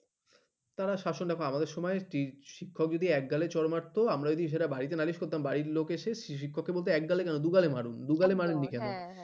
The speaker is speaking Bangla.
তারা শাসন দেখো আমাদের সময় শিক্ষক এক গালে চড় মাত্র বাড়িতে নালিশ করতাম বাড়ির লোক এসে শিক্ষককে এসে বলতে এক গালে কেন দু গালে মারুন এক গালে কেন